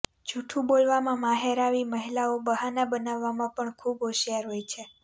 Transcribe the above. જૂઠ્ઠું બોલવામાં માહેર આવી મહિલાઓ બહાના બનાવવામાં પણ ખુબ હોશિયાર હોય છે